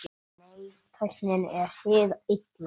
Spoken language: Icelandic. Nei, tæknin er hið illa.